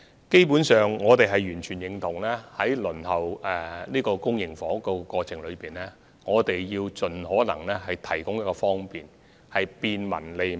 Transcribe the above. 基本上，我們完全認同在輪候公營房屋的過程中，必須盡可能為市民提供方便，做到便民和利民。